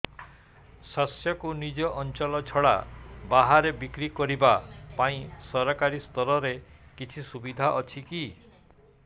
ଶସ୍ୟକୁ ନିଜ ଅଞ୍ଚଳ ଛଡା ବାହାରେ ବିକ୍ରି କରିବା ପାଇଁ ସରକାରୀ ସ୍ତରରେ କିଛି ସୁବିଧା ଅଛି କି